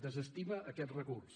desestima aquest recurs